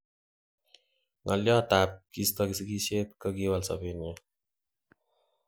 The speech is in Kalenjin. Ngo' lyot tab kisto sigisyet kokiwal sobenyun